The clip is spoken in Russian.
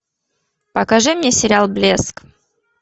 покажи мне сериал блеск